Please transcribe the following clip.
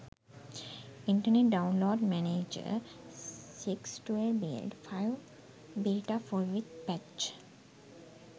internet download manager 6 12 build 5 beta full with patch